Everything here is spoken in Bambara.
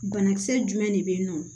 Banakisɛ jumɛn de bɛ yen nɔ